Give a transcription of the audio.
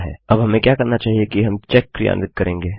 अब हमें क्या करना चाहिए कि हमें चेक क्रियान्वित करेंगे